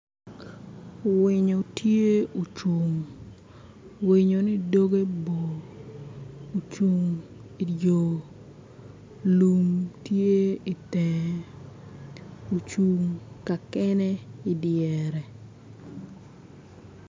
Winyo tye ocung winyo-ni dogge bor ocung i di yo lum tye itenge ocung ka kene i dyere